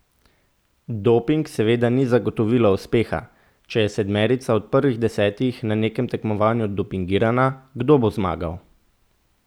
Doping seveda ni zagotovilo uspeha, če je sedmerica od prvih desetih na nekem tekmovanju dopingirana, kdo bo zmagal?